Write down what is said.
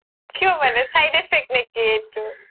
কিয় মানে side effect নে কি এইতো